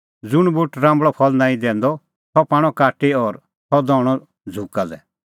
ज़ुंण बूट राम्बल़अ फल़ नांईं दैंदअ सह पाणअ काटी और सह दहणअ झ़ुका लै